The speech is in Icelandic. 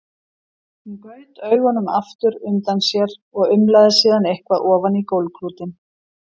Hún gaut augunum aftur undan sér og umlaði síðan eitthvað ofan í gólfklútinn.